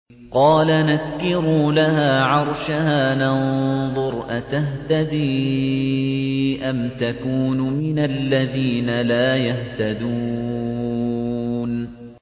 قَالَ نَكِّرُوا لَهَا عَرْشَهَا نَنظُرْ أَتَهْتَدِي أَمْ تَكُونُ مِنَ الَّذِينَ لَا يَهْتَدُونَ